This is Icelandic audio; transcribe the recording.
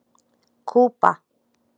Kúba